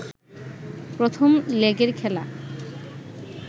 প্রথম লেগের খেলা